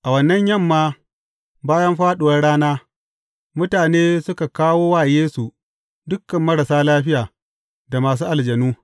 A wannan yamma, bayan fāɗuwar rana, mutane suka kawo wa Yesu dukan marasa lafiya, da masu aljanu.